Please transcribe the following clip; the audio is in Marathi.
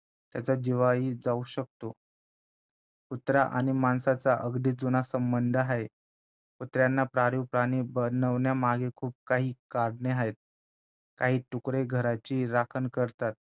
त्यांचा जीवाही जाऊ शकतो कुत्रा आणि माणसाचा अगदी जुना संबंध आहे कुत्र्यांना पाळीव प्राणी बनवण्यामागे खूप काही कारणे आहेत काही तुकडे घराची राखण करतात